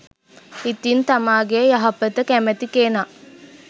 ඉතින් තමාගේ යහපත කැමති කෙනා